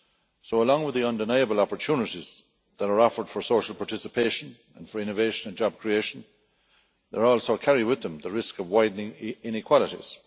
So, along with the undeniable opportunities that are offered for social participation and for innovation and job creation, they also carry with them the risk of widening inequalities.